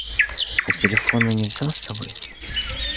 а телефон не взяла с собой